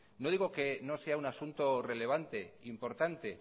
no digo que no sea un asunto relevante importante